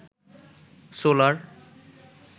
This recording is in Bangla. সোলার